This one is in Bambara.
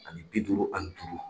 Ani bi duuru ani duuru.